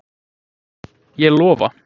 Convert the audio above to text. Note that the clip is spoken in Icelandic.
Ég lofa.